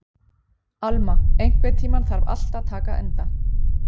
Alma, einhvern tímann þarf allt að taka enda.